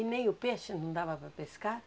E nem o peixe não dava para pescar?